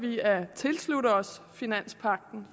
vi at tilslutte os finanspagten